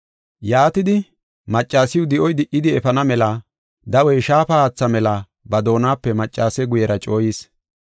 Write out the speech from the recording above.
Yaatidi, maccasiw di7oy di77idi efana mela dawey shaafa haatha mela ba doonape maccase guyera cooyis.